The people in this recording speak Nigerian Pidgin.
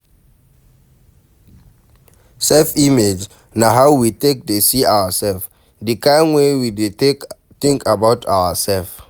Self image na how we take dey see ourself, di kind way wey we take dey think about ourself